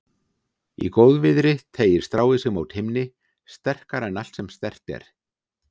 Í góðviðri teygir stráið sig mót himni, sterkara en allt sem sterkt er.